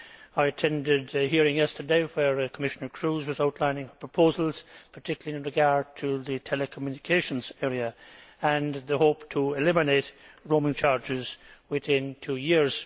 I attended a hearing yesterday where Commissioner Kroes was outlining proposals particularly in regard to the telecommunications area and the hope of eliminating roaming charges within two years.